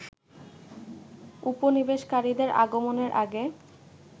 উপনিবেশকারীদের আগমনের আগে